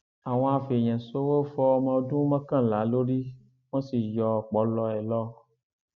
àwọn afẹèyànṣòwò fọ ọmọọdún mọkànlá lórí wọn sì yọ ọpọlọ ẹ lọ